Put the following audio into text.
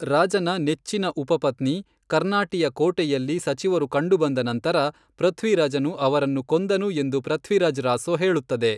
ರಾಜನ ನೆಚ್ಚಿನ ಉಪಪತ್ನಿ, ಕರ್ನಾಟಿಯ ಕೋಣೆಯಲ್ಲಿ ಸಚಿವರು ಕಂಡುಬಂದ ನಂತರ, ಪೃಥ್ವಿರಾಜನು ಅವರನ್ನು ಕೊಂದನು ಎಂದು ಪೃಥ್ವಿರಾಜ್ ರಾಸೊ ಹೇಳುತ್ತದೆ.